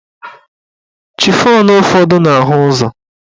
Chifọn ụfọdụ na-ahụ ụzọ